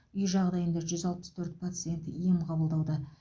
үй жағдайында жүз алпыс төрт пациент ем қабылдауда